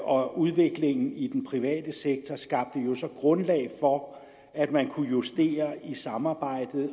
og udviklingen i den private sektor skabte jo grundlag for at man kunne justere i samarbejdet